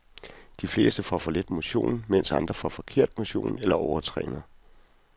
De fleste får for lidt motion, mens andre får forkert motion, eller overtræner.